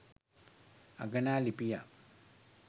අගනා ලිපියක්